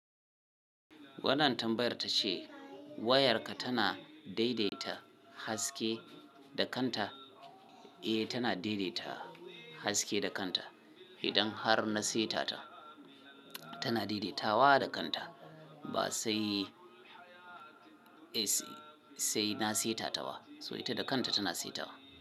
Wannan tambayar ta ce wayarka tana daidaita haske da kanta? Eh, tana daidaita haske da kanta. Idan har na seta ta, tana daidaitawa da kanta. Ba sai, eh sai, sai na seta ta ba. So ita da kanta tana seta wa.